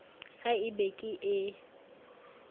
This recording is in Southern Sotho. ha e be ke ee